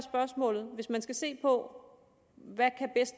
hvis man her skal se på hvad